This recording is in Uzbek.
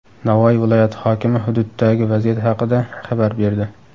Navoiy viloyati hokimi hududdagi vaziyat haqida xabar berdi.